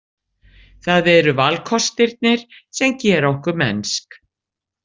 Það eru valkostirnir sem gera okkar mennsk.